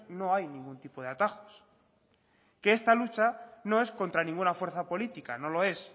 no hay ningún tipo de atajos que esta lucha no es contra ninguna fuerza política no lo es